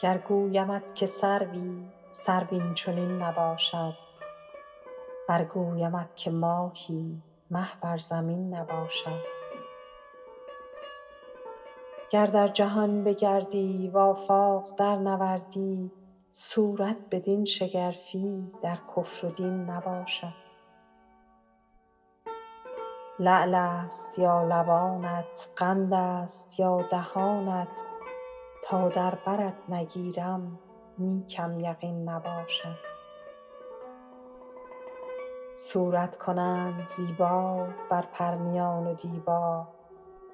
گر گویمت که سروی سرو این چنین نباشد ور گویمت که ماهی مه بر زمین نباشد گر در جهان بگردی و آفاق درنوردی صورت بدین شگرفی در کفر و دین نباشد لعل است یا لبانت قند است یا دهانت تا در برت نگیرم نیکم یقین نباشد صورت کنند زیبا بر پرنیان و دیبا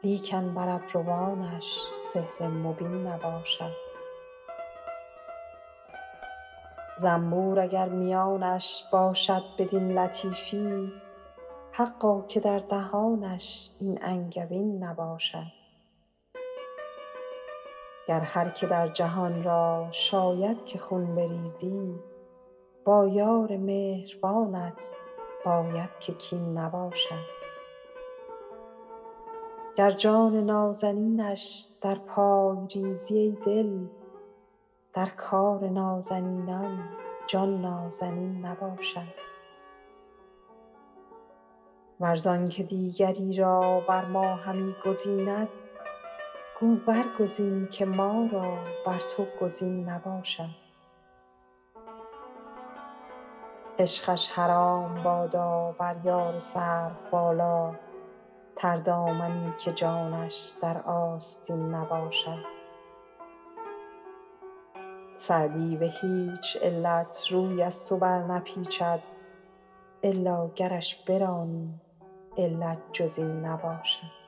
لیکن بر ابروانش سحر مبین نباشد زنبور اگر میانش باشد بدین لطیفی حقا که در دهانش این انگبین نباشد گر هر که در جهان را شاید که خون بریزی با یار مهربانت باید که کین نباشد گر جان نازنینش در پای ریزی ای دل در کار نازنینان جان نازنین نباشد ور زان که دیگری را بر ما همی گزیند گو برگزین که ما را بر تو گزین نباشد عشقش حرام بادا بر یار سروبالا تردامنی که جانش در آستین نباشد سعدی به هیچ علت روی از تو برنپیچد الا گرش برانی علت جز این نباشد